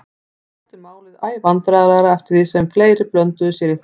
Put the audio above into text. Honum þótti málið æ vandræðalegra eftir því sem fleiri blönduðu sér í það.